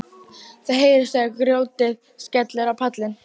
Það heyrist þegar grjótið skellur á pallinn.